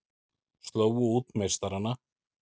Slógu út meistarana